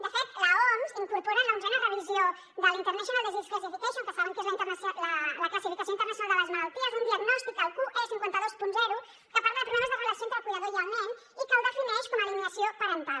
de fet l’oms incorpora en l’onzena revisió de la international classification of diseases que saben que és la classificació internacional de les malalties un diagnòstic el qe520 que parla de problemes de relació entre el cuidador i el nen i que el defineix com alineació parental